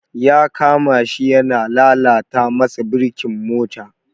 Ya kama shi yana lalata masa birkin mota.